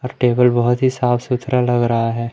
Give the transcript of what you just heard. और टेबल बहोत ही साफ सुथरा लग रहा है।